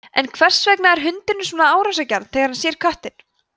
en hvers vegna er hundurinn svona árásargjarn þegar hann sér köttinn